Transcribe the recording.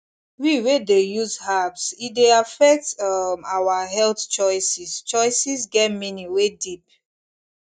we wey dey use herbs e dey affect um our health choices choices get meaning wey deep